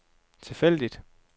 tilfældig